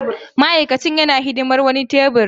Ma'aikacin yana hidimar wani tebur.